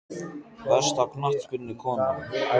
Besta knattspyrnukonan?